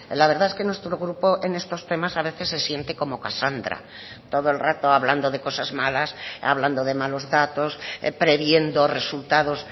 la verdad es que nuestro grupo en estos temas a veces se siente como casandra todo el rato hablando de cosas malas hablando de malos datos previendo resultados